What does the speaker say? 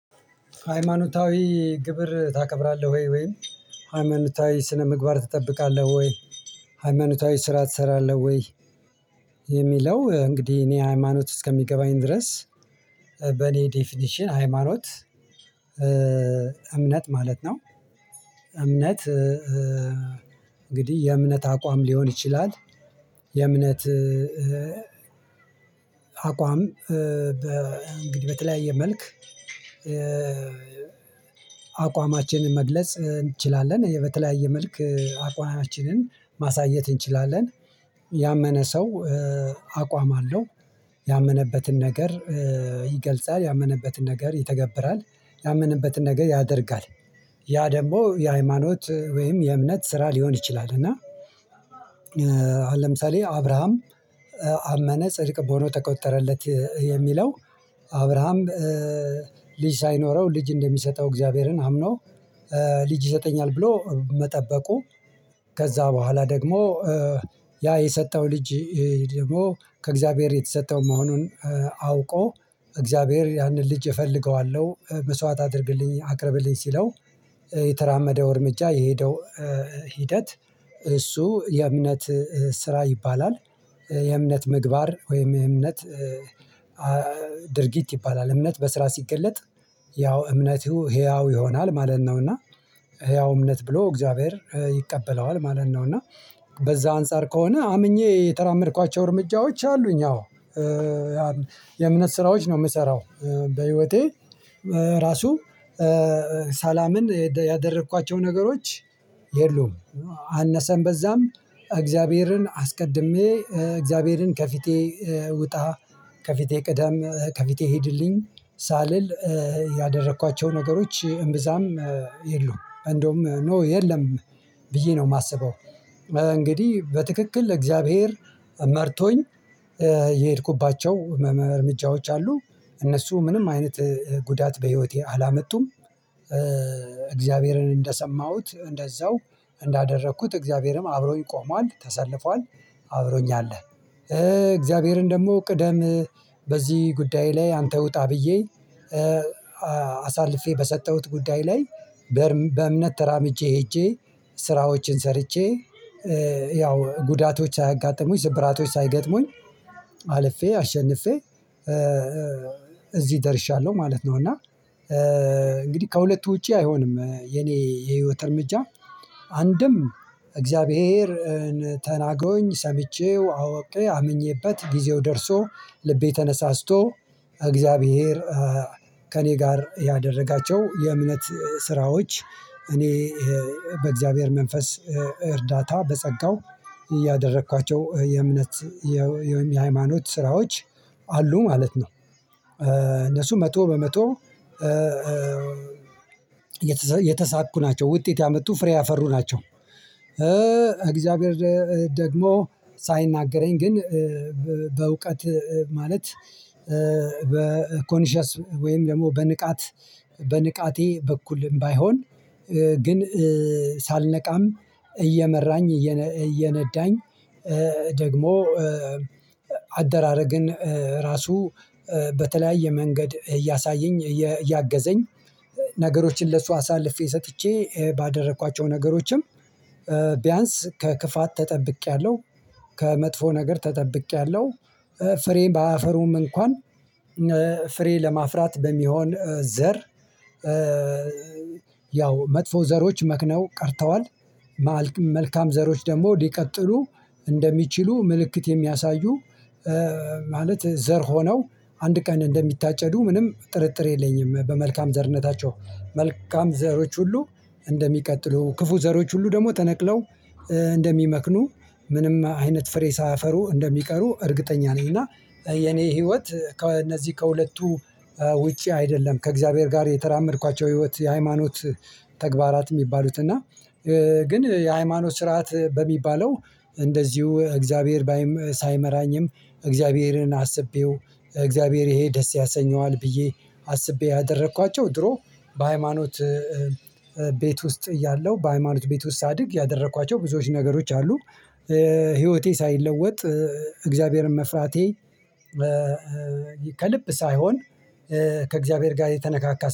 ሃይማኖታዊ ግብር ታከብራለህ ወይ ወይ? ሃይማኖታዊ ስነ ምግባር ትጠብቃለህ ወይ? ሃይማኖታዊ ስራ ትሰራለህ ወይ? የሚለው እንግዲህ እኔ ሃይማኖት እስከሚገባኝ ድረስ በኔ ዴፊኒሽን ሃይማኖት እምነት ማለት ነው። እምነት እንግዲህ የእምነት አቋም ሊሆን ይችላል። የእምነት አቋም በእንግዲህ በተለያየ መልክ አቋማችንን መግለጽ እንችላለን በተለያየ መልክ አቋማችንን ማሳየት እንችላለን። ያመነ ሰው አቋም አለው ያመነበትን ነገር ያመነበትን ነገር ይተገብራል ያመነበትን ነገር ያደርጋል ያ ደግሞ የሃይማኖት ወይም የእምነት ስራ ሊሆን ይችላል። እና ለምሳሌ አብራሃም አመነ ጽድቅ በሆነ ተቆጠረለት የሚለው አብርሃም ልጅ ሳይኖረው ልጅ እንደሚሰጠው እግዚአብሔርን አምኖ ልጅ ይሰጠኛል ብሎ መጠበቁ። ከዛ በኋላ ደግሞ ያ የሰጠው ልጅ ደግሞ ከእግዚአብሔር የተሰጠው መሆኑን አውቆ እግዚአብሔር ያንን ልጅ እፈልገዋለሁ መስዋዕት አድርግልኝ አቅርብልኝ ሲለው የተራመደው እርምጃ የሄደው ሂደት እሱ የእምነት ስራ ይባላል። የእምነት ምግባር ወይም የእምነት ድርጊት ይባላል እምነት በስራ ሲገለጥ ያው እምነቱ ህያው ይሆናል ማለት ነው። እና ህያው እምነት ብሎ እግዚአብሔር ይቀበለዋል ማለት ነው። እና በዛ አንፃር ከሆነ አምኜ የተራመድኳቸው እርምጃዎች አሉኝ አዎ የእምነት ስራዎች ነው የምሰራው በህይወቴ ራሱ ሳላምን ያደረኳቸው ነገሮች የሉም። አነሳን በዛም እግዚአብሔርን አስቀድሜ እግዚአብሔርን ከፊቴ ውጣ ከፊቴ ቅዳም ከፊቴ ሂድልኝ ሳልል ያደረኳቸው ነገሮች እምብዛም የሉም እንደውም ኖ የለም ብዬ ነው የማስበው። እንግዲህ በትክክል እግዚአብሔር መርቶኝ የሄድኩባቸው እርምጃዎች አሉ እነሱ ምንም አይነት ጉዳት በህይወቴ አላመጡም። እግዚአብሔርን እንደሰማሁት እንደዛው እንዳደረኩት እግዚአብሔርም አብሮኝ ቆሟል ተሰልፏል አብሮኝ አለ። እግዚአብሔርን ደግሞ ቅደም በዚህ ጉዳይ ላይ አንተ ውጣ ብዬ አሳልፌ በሰጠሁት ጉዳይ ላይ በእምነት ተራምጄ ሄጄ ስራዎችን ሰርቼ ያው ጉዳቶች አጋጠሙኝ ስብራቶች ሳይገጥሙኝ አልፌ አሸንፌ እዚህ ደርሻለሁ ማለት ነው። እና እንግዲህ ከሁለቱ ውጪ አይሆንም የኔ የህይወት እርምጃ አንድም እግዚአብሔርን ተናግሮኝ ሰምቼው አወቅኝ አምኜበት ጊዜው ደርሶ ልቤ ተነሳስቶ እግዚአብሔር ከእኔ ጋር ያደረጋቸው የእምነት ስራዎች እኔ በእግዚአብሔር መንፈስ እርዳታ በጸጋው እያደረኳቸው የእምነት የሃይማኖት ስራዎች አሉ ማለት ነው። መቶ በመቶ የተሳኩ ናቸው ውጤት ያመጡ ፍሬ ያፈሩ ናቸው። እግዚአብሔር ደግሞ ሳይናገረኝ ግን ማለት በኮንሺየስ ወይም ደግሞ በንቃት በንቃቴ በኩል ባይሆን ግን ሳልነቃም እየመራኝ እየነዳኝ ደግሞ አደራረግን ራሱ በተለያየ መንገድ እያሳየኝ እያገዘኝ ነገሮችን ለሷ አሳልፌ ሰጥቼ ባደረኳቸው ነገሮችም ቢያንስ ከክፋት ተጠብቄያለሁ። ከመጥፎ ነገር ተጠብቄያለሁ ፍሬ ባያፈሩም እንኳን ፍሬ ለማፍራት በሚሆን ዘር ያው መጥፎ ዘሮች መክነው ቀርተዋል። መልካም ዘሮች ደግሞ ሊቀጥሉ እንደሚችሉ ምልክት የሚያሳዩ ማለት ዘር ሆነው አንድ ቀን እንደሚታጨዱ ምንም ጥርጥር የለኝም። በመልካም ዘርነታቸው መልካም ዘሮች ሁሉ እንደሚቀጥሉ ክፉ ዘሮች ሁሉ ደግሞ ተነቅለው እንደሚመክኑ ምንም አይነት ፍሬ ሳያፈሩ እንደሚቀሩ እርግጠኛ ነኝ። እና የኔ ህይወት ከእነዚህ ከሁለቱ ውጪ አይደለም ከእግዚአብሔር ጋር የተራመድኳቸው ህይወት የሃይማኖት ተግባራት የሚባሉት እና ግን የሃይማኖት ስርዓት በሚባለው እንደዚሁ እግዚአብሔር ባይም ሳይመራኝም እግዚአብሔርን አስቤው እግዚአብሔር ይሄ ደስ ያሰኘዋል ብዬ አስቤ ያደረኳቸው ድሮ በሃይማኖት ቤት ወስጥ አያለው በሃይማኖት ቤት ወስጥ ሳድግ ያደረክዋቸው ብዙ ነገሮች አሉ። ህይወቴ ሳይለወጥ አግዛብሔርን መፍራቴ ከልብ ሳይሆን ከአግዛብሔር ጋር የተነካካ